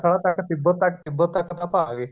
ਤੱਕ ਤਿੱਬਤ ਤਿੱਬਤ ਤੱਕ ਤਾਂ ਆਪਾਂ ਆਗੇ